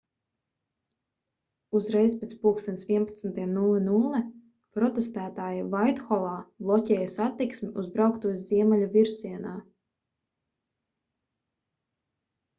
uzreiz pēc plkst 11.00 protestētāji vaitholā bloķēja satiksmi uz brauktuves ziemeļu virzienā